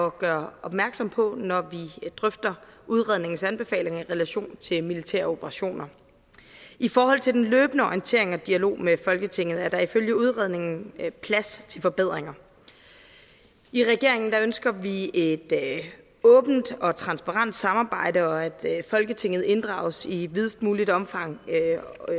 at gøre opmærksom på når vi drøfter udredningens anbefalinger i relation til militære operationer i forhold til den løbende orientering og dialog med folketinget er der ifølge udredningen plads til forbedringer i regeringen ønsker vi et åbent og transparent samarbejde og at folketinget inddrages i videst muligt omfang